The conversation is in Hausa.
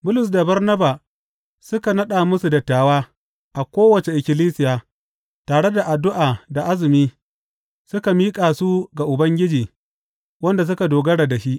Bulus da Barnabas suka naɗa musu dattawa a kowace ikkilisiya, tare da addu’a da azumi, suka miƙa su ga Ubangiji, wanda suka dogara da shi.